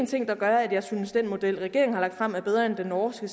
ting der gør at jeg synes at den model regeringen har lagt frem er bedre end den norske